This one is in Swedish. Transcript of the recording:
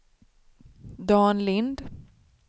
Dan Lind